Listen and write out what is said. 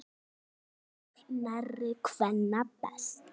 Kveður nærri kvenna best.